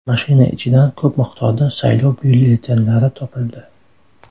Mashina ichidan ko‘p miqdorda saylov byulletenlari topildi.